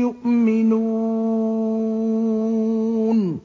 يُؤْمِنُونَ